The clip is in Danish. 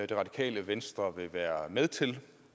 det radikale venstre så i være med til